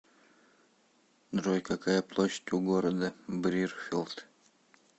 джой какая площадь у города брирфилд